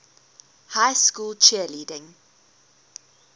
high school cheerleading